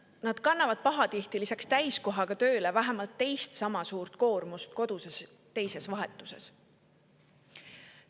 Nad kannavad pahatihti lisaks täiskohaga tööle vähemalt teist sama suurt koormust teises, koduses vahetuses.